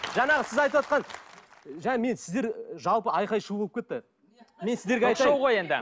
жаңағы сіз айтыватқан жаңа мен сіздер жалпы айқай шу болып кетті мен сіздерге айтайын